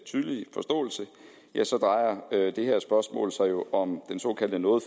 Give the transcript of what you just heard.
tydelige forståelse drejer det her spørgsmål sig jo om den såkaldte noget